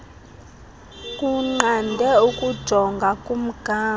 kunqande ukujonga kumgama